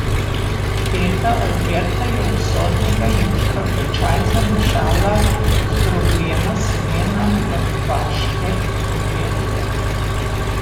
Teta Alberta je usodnega jutra v čaj zamešala zdrobljena semena mrtvaške trobente!